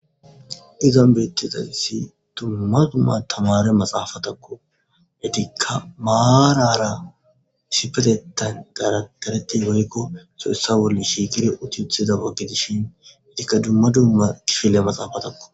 Ezan betizayis dumma dumma tamare maxafatakko etika marara issipetetan daradarati woyikko issoy issoua bola shiiqi utetiza oge gidishin etika dumma dumma kifile maxafatakko.